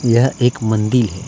यह एक मंदिल है।